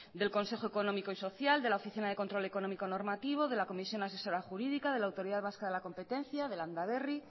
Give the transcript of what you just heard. del consejo económico y social de la oficina de control económico normativo de la comisión asesora jurídica de la autoridad vasca de la competencia de landaberri